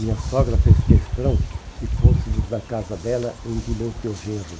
Minha sogra fez questão que fôssemos na casa dela em Timóteo Gerro.